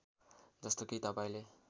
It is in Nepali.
जस्तो कि तपाईँले